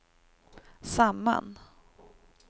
samman